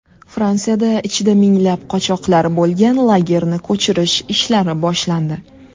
Fransiyada ichida minglab qochoqlar bo‘lgan lagerni ko‘chirish ishlari boshlandi.